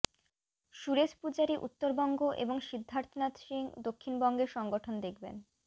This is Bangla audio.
সুরেশ পূজারি উত্তরবঙ্গ এবং সিদ্ধার্থনাথ সিং দক্ষিণবঙ্গে সংগঠন দেখবেন